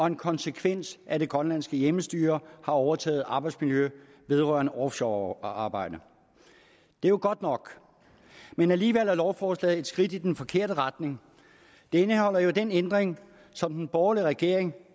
en konsekvens af at det grønlandske hjemmestyre har overtaget arbejdsmiljøet vedrørende offshorearbejde det er jo godt nok men alligevel er lovforslaget et skridt i den forkerte retning det indeholder jo den ændring som den borgerlige regering